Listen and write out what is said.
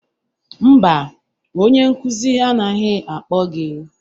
Mba, onye nkụzi anaghị akpọ gị